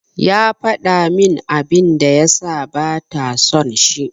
Ya faɗa min abin da ya sa bata son shi.